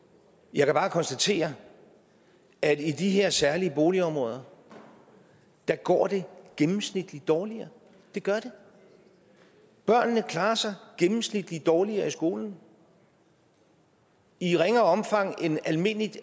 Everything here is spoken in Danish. jeg kan bare konstatere at i de her særlige boligområder går det gennemsnitligt dårligere det gør det børnene klarer sig gennemsnitligt dårligere i skolen og i ringere omfang end almindeligt